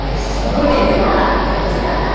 Mas só vou te falar, porque eu não sei cantar.